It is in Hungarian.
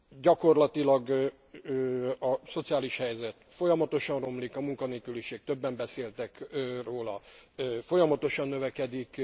Gyakorlatilag a szociális helyzet folyamatosan romlik, a munkanélküliség, többen beszéltek róla, folyamatosan növekedik.